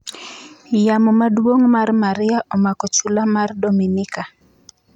Yamo maduong' mar Maria omako chula mar Dominika